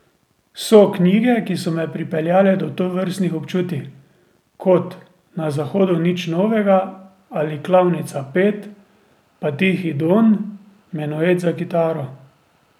So knjige, ki so me pripeljale do tovrstnih občutij, kot Na zahodu nič novega ali Klavnica pet, pa Tihi Don, Menuet za kitaro ...